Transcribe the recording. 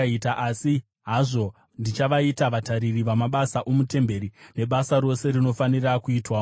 Asi hazvo ndichavaita vatariri vamabasa omutemberi nebasa rose rinofanira kuitwamo.